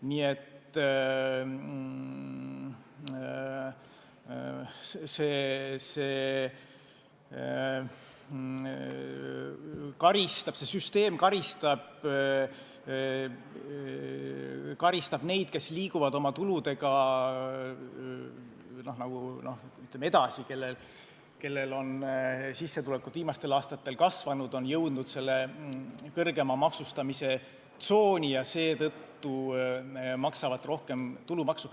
Nii et see süsteem karistab neid, kes liiguvad oma tuludega edasi, kellel on sissetulekud viimastel aastatel kasvanud, kes on jõudnud kõrgema maksustamise tsooni, ja seetõttu maksavad nad rohkem tulumaksu.